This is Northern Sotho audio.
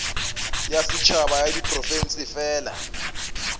ya setšhaba ya diprofense fela